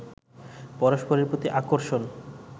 পরস্পরের প্রতি আকর্ষণ